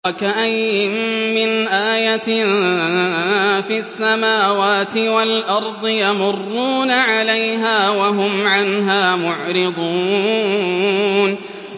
وَكَأَيِّن مِّنْ آيَةٍ فِي السَّمَاوَاتِ وَالْأَرْضِ يَمُرُّونَ عَلَيْهَا وَهُمْ عَنْهَا مُعْرِضُونَ